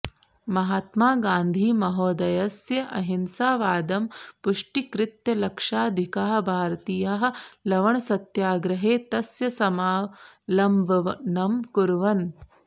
महात्मागान्धिमहोदयस्य अहिंसावादं पुष्टीकृत्य लक्षाधिकाः भारतीयाः लवणसत्याग्रहे तस्य समालम्बनम् अकुर्वन्